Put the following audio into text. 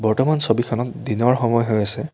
বৰ্তমান ছবিখনত দিনৰ সময় হৈ আছে।